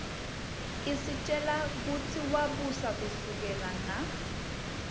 isitjela kutsi wabusa kusukela nga